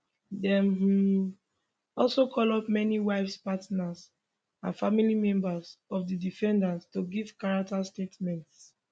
dem um also call up many wives partners and family members of di defendants to give character statements